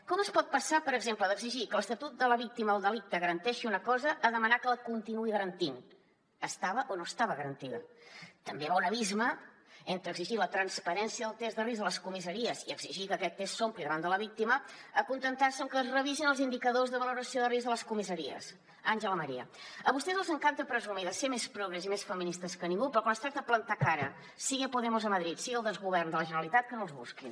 com es pot passar per exemple d’exigir que l’estatut de la víctima del delicte garanteixi una cosa a demanar que la continuï garantint estava o no estava garantida també hi ha un abisme entre exigir la transparència del test de risc a les comissaries i exigir que aquest test s’ompli davant de la víctima a acontentar se amb que es revisin els indicadors de valoració de risc a les comissaries àngela maria a vostès els encanta presumir de ser més progres i més feministes que ningú però quan es tracta de plantar cara sigui a podemos a madrid sigui al desgovern de la generalitat que no els busquin